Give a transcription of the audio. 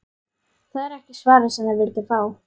Það er ekki svarið sem þið vilduð fá.